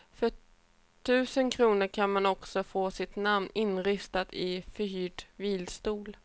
För tusen kronor kan man också få sitt namn inristat i förhyrd vilstol.